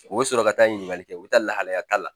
U bɛ sɔrɔ ka taa ɲininkali kɛ u bɛ taa lahalaya ta la